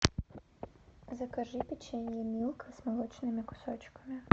закажи печенье милка с молочными кусочками